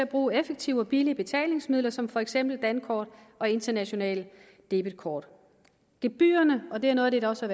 bruger effektive og billige betalingsmidler som for eksempel dankort og internationale debetkort gebyrerne og det er noget af det der også